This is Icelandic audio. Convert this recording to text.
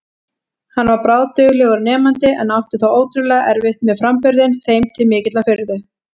Hann var bráðduglegur nemandi en átti þó ótrúlega erfitt með framburðinn, þeim til mikillar furðu.